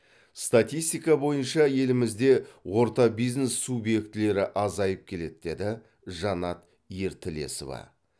статистика бойынша елімізде орта бизнес субъектілері азайып келеді деді жанат ертілесова